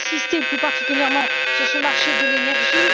Je vais insister plus particulièrement sur le marché de l'énergie.